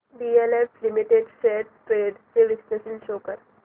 DLF limited shares trends चे विश्लेषण show कर